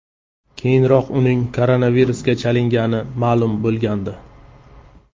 Keyinroq uning koronavirusga chalingani ma’lum bo‘lgandi .